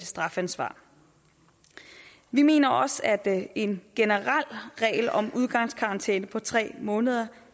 strafansvar vi mener også at en generel regel om udgangskarantæne på tre måneder